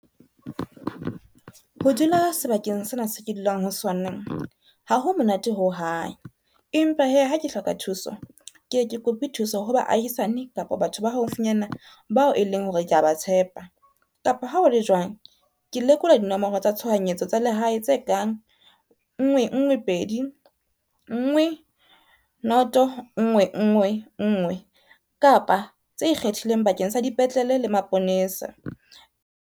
Ho dula sebakeng sena se ke dulang ho sona, ha ho monate ho hang. Empa hee ha ke hloka thuso, ke e ke kope thuso ho ba ahisane kapa batho ba haufinyana bao e leng hore ke a ba tshepa. Kapa ha o le jwang, ke lekola dinomoro tsa tshohanyetso tsa lehae tse kang nngwe nngwe pedi, nngwe noto nngwe nngwe nngwe kapa tse ikgethileng bakeng sa dipetlele le maponesa.